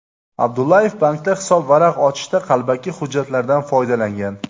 Abdullayev bankda hisobvaraq ochishda qalbaki hujjatlardan foydalangan.